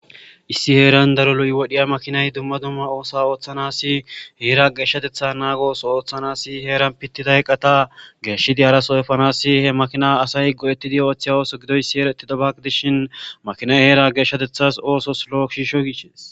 Issi heran daro lo"i wodhdhiza makinay dumma dumma oththa oththanasi heera geshshatetha oththo oththanasi heeran pittida eqata haraso efanassi he makina asay go'etidi oththiza oththo gidoyssi erotidobba gidishshin makinay heera geshshateththas lo'o gidishin